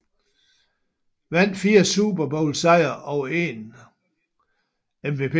Vandt 4 Super Bowl sejre og en MVP